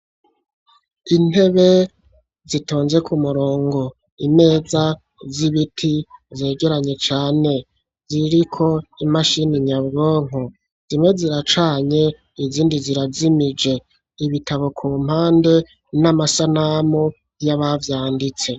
Intebe zitonze k'umurongo, imeza z'ibiti zegeranye cane, ziriko imashine nyabwonko, zimwe ziracanye, izindi zirajimije, ibitabo ku mpande n'amasanamu y'abavyanditse.